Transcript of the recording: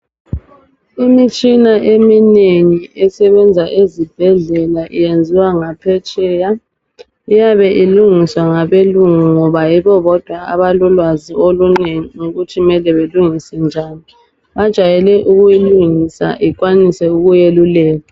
Imitshina eminengi esebenza ezibhedlela iyenziwa ngaphetsheya iyabe ilungiswa ngabelungu ngoba yibo bodwa abalolwazi olunengi ngokuthi kumele belungise njani bajwayele ukuyilungisa ikwanise ukuyeluleka